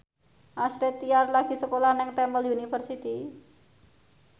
Astrid Tiar lagi sekolah nang Temple University